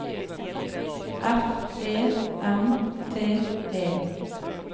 F E M T E